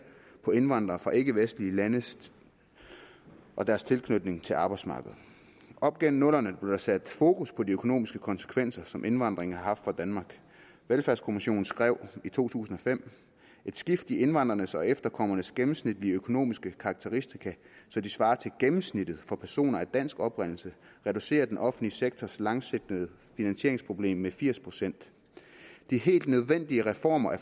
på indvandrere fra ikkevestlige lande og deres tilknytning til arbejdsmarkedet op gennem nullerne blev der sat fokus på de økonomiske konsekvenser som indvandringen har haft for danmark velfærdskommissionen skrev i 2005 et skift i indvandrernes og efterkommernes gennemsnitlige økonomiske karakteristika så de svarer til gennemsnittet for personer af dansk oprindelse reducerer den offentlige sektors langsigtede finansieringsproblem med firs procent de helt nødvendige reformer af